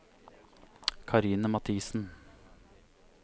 Karine Mathiesen